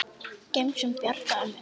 Gemsinn bjargar mér.